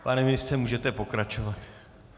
Pane ministře, můžete pokračovat.